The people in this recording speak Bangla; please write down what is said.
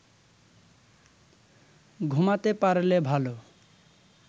ঘুমাতে পারলে ভালো